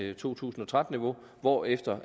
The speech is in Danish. er to tusind og tretten hvorefter